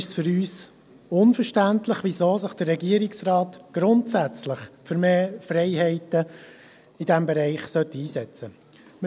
Deshalb ist es für uns unverständlich, wenn sich der Regierungsrat grundsätzlich für mehr Freiheiten in diesem Bereich einsetzen soll.